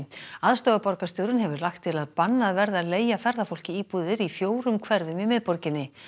aðstoðarborgarstjórinn hefur lagt til að bannað verði að leigja ferðafólki íbúðir í fjórum hverfum í miðborginni